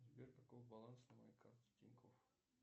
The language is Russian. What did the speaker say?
сбер каков баланс на моей карте тинькофф